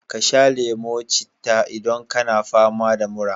Ka sha lemo citta idan kana fama da mura.